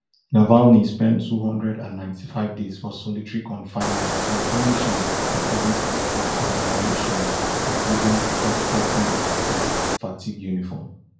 navalny spend two hundred and ninety-five days for solitary confinement dem punish am according to di book for violations including di top button of im fatigue uniform